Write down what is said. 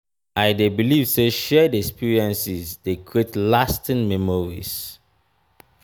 i dey believe say shared experiences dey create lasting memories.